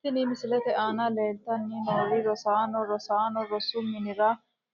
Tini misilete aana leeltani noo rosaano rosaano rosu minira